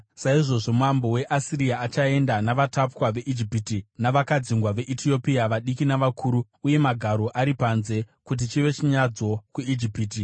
saizvozvo mambo weAsiria achaenda navatapwa veIjipiti, navakadzingwa veEtiopia, vadiki navakuru, uye magaro ari panze, kuti chive chinyadziso kuIjipiti.